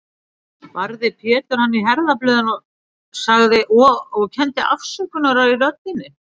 Barði Pétur hann í herðablöðin, sagði, og kenndi afsökunar í röddinni